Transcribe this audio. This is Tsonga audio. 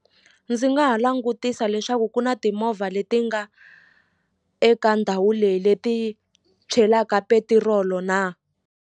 Ndzi nga ha langutisa leswaku ku na timovha leti nga eka ndhawu leyi leti chelaka petirolo na.